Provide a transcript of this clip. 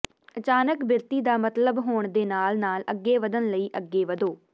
ਅਚਾਨਕ ਬਿਰਤੀ ਦਾ ਮਤਲਬ ਹੋਣ ਦੇ ਨਾਲ ਨਾਲ ਅੱਗੇ ਵਧਣ ਲਈ ਅੱਗੇ ਵਧੋ